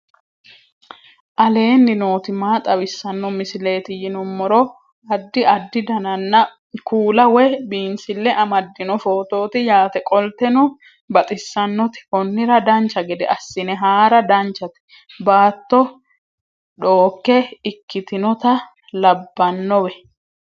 aleenni nooti maa xawisanno misileeti yinummoro addi addi dananna kuula woy biinsille amaddino footooti yaate qoltenno baxissannote konnira dancha gede assine haara danchate baatto dhooke ikkitinota labbannowe